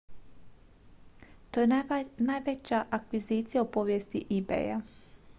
to je najveća akvizicija u povijesti ebaya